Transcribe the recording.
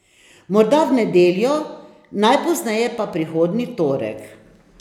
Morda v nedeljo, najpozneje pa prihodnji torek.